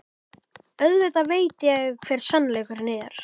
Auðvitað veit ég hver sannleikurinn er.